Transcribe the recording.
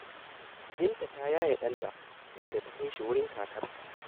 Binta ta yaye ɗanta, inda ta kai shi wurin kakarta.